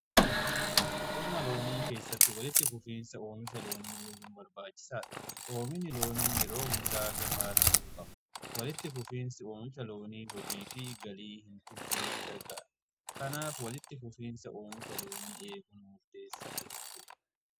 Qonna loonii keessatti walitti fufiinsa oomisha loonii eeguun barbaachisaadha. Oomishnni loonii yeroo hundaa gahaa ta'uu qaba. Walitti fufiinsi oomisha loonii hojii fi galii kennuuf gargaara kanaaf walitti fufiinsa oomisha loonii eeguun murteessaadha.